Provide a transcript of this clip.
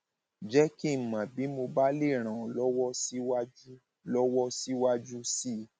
jẹ kí n mọ bí mo bá lè ràn ọ lọwọ síwájú lọwọ síwájú sí i